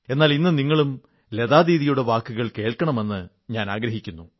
എന്നാൽ ഇന്ന് നിങ്ങളും ലതാദീദിയുടെ വാക്കുകൾ കേൾക്കണമെന്ന് ഞാനാഗ്രഹിക്കുന്നു